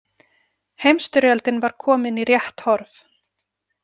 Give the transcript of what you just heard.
Heimsstyrjöldin var komin í rétt horf.